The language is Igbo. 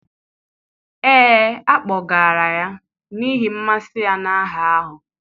ee, a kpọgara ya n'ihi mmasị ya na aha ahụ.